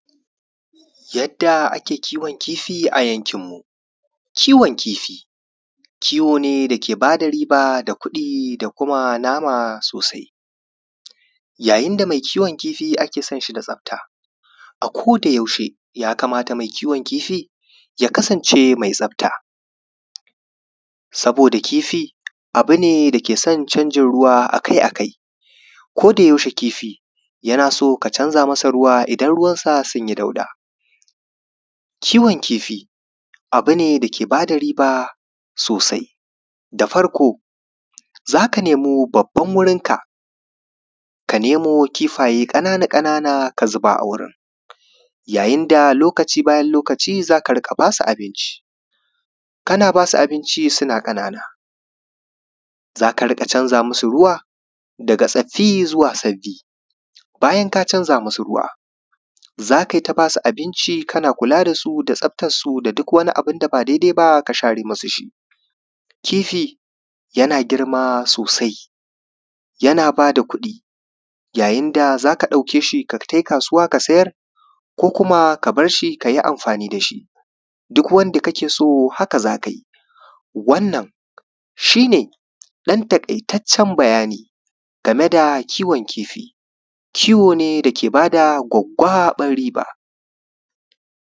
yadda ake kiwon kifi a yankin mu kiwon kifi kiwo ne da ke bada riba da kuɗi da kuma nama sosai yayin da mai kiwon kifi ake son shi da tsafta a koda yaushe ya kamata mai kiwon kifi ya kasance mai tsafta sabida kifi abune da ya ke son canjin ruwa akai-akai koda yaushe kifi yana son ka canza masa ruwa idan ruwan sa sunyi dauɗa kiwon kifi abune da ke bada riba sosai da farko zaka nemo babban wurin kaka nemo kifaye ƙanana-ƙanana ka zuba a wurin yayin da lokaci bayan lokaci zaka riƙa basu abinci kana basu abinci suna ƙanana zaka riƙa canza masu ruwa daga tsaffi zuwa sabbi bayan ka canza musu ruwa zakai ta basu abinci kana kula dasu da tsaftar su da duk wani abunda ba daidai ba ka share musu shi kifi yana girma sosai yana bada kuɗi yayin da zaka ɗauke shi ka tai kasuwa ka sayar ko kuma ka barshi kayi amfani da shi duk wanda kake so haka zakayi wannan shi ne ɗan taƙaitaccen bayani game da kiwon kifi kiwo ne da ke bada gwaggwaɓar riba